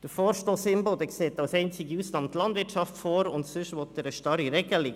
Der Vorstoss Imboden sieht als einzige Ausnahme die Landwirtschaft vor, und sonst will er eine starre Regelung.